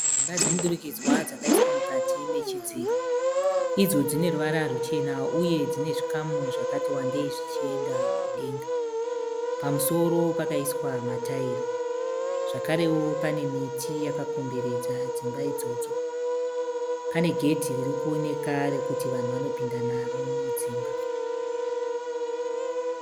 Dzimba dzemudurikidzwa dzakaiswa mukati nechidziro idzo dzineruvara ruchena uye dzine zvikamu zvakati wandei zvichienda mudenga. Pamusoro pakaiswa mataira. Zvakarewo pane miti dzakakomberedza dzimba idzodzo. Pane gedhe ririkuoneka rekuti vanhu vanopinda naro mudzimba.